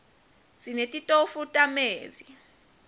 sinetitofu tamezi